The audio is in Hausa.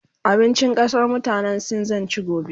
abincin ƙasan mutanan sin zan ci gobe